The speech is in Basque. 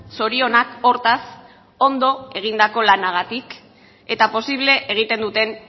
zorionak hortaz ondo egindako lanagatik eta posible egiten duten